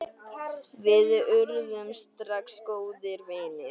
Við urðum strax góðir vinir.